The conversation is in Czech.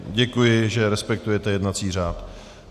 Děkuji, že respektujete jednací řád.